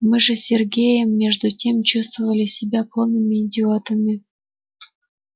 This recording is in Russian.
мы же с сергеем между тем чувствовали себя полными идиотами